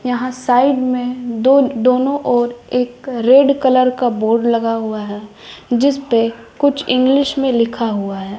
यहां साइड में दो दोनों ओर एक रेड कलर का बोर्ड लगा हुआ है जिस पे कुछ इंग्लिश में लिखा हुआ है।